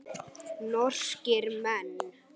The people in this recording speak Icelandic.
Norskir menn.